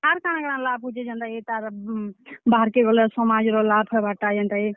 ଆର୍ କାଣାକାଣା ଲାଭ୍ ହଉଛେ ଯେନ୍ତାକି ତାର୍ ବାହାର୍ କେ ଗଲେ ସମାଜ୍ ର ଲାଭ୍ ହେବାର୍ ଟା ଯେନ୍ତାକି।